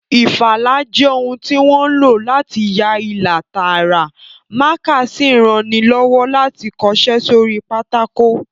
Ìfalà jẹ́ ohun tí wọ́n ń lò láti ya ilà tààrà, mákà sì ń ranilọ́wọ́ láti kọṣẹ́ sórí pátákò